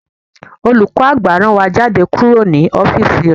Olùkọ́ àgbà rán wa jáde kúrò ní ọ́físì rẹ̀